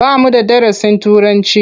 Ba mu da darasin Turanci.